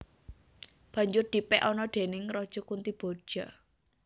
Banjur dipèk anak déning Raja Kuntiboja